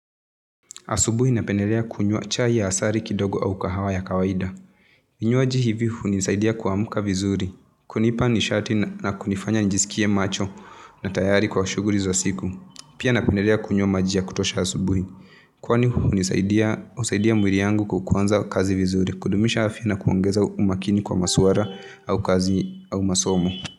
Asubuhi napendelea kunywa chai ya asari kidogo au kahawa ya kawaida. Vinywaji hivi hunisaidia kuamka vizuri. Kunipa nishati na kunifanya nijisikie macho na tayari kwa shuguri za siku. Pia napendelea kunywa maji ya kutosha asubuhi. Kwani hunisaidia mwiri yangu kukuanza kazi vizuri. Kudumisha afya na kuongeza umakini kwa masuara au kazi au masomo.